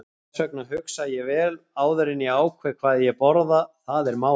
Þess vegna hugsa ég vel áður en ég ákveð hvað ég borða, það er málið.